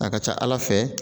A ka ca ala fɛ